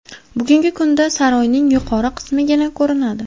Bugungi kunda saroyning yuqori qismigina ko‘rinadi.